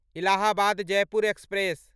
Allahabad Jaipur express